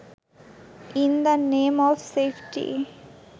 in the name of safety